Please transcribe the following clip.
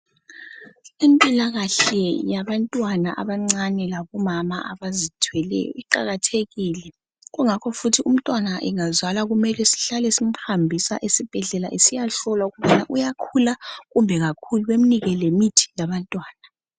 Impilakahle yabantwana abancane lakumama abazithweleyo iqakathekile kungakho futhi umtwana engazalwa kumele sihlale simhambisa esibhedlela esiyahlolwa ukuba uyakhula kumbe kakhuli bemnike lemithi yabantwana